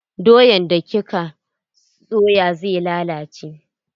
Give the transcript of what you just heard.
Doyan da kika soya zai lalace.